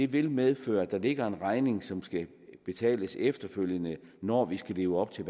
vil medføre at der ligger en regning som skal betales efterfølgende når vi skal leve op til